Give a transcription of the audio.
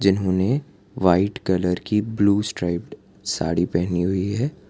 इन्होंने white colour की blue striped sari पहनी हुई है।